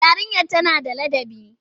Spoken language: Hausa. Yarinyar tana da ladabi?